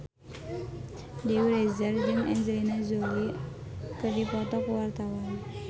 Dewi Rezer jeung Angelina Jolie keur dipoto ku wartawan